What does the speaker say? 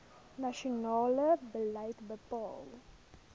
nasionale beleid bepaal